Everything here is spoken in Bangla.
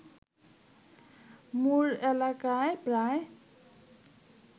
মুর এলাকায় প্রায়